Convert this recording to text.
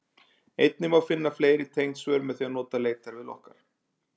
Einnig má finna fleiri tengd svör með því að nota leitarvél okkar.